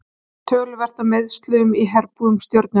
Töluvert er af meiðslum í herbúðum Stjörnunnar.